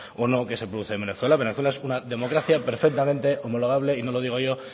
o no que se producen en venezuela venezuela es una democracia perfectamente homologable y no lo digo yo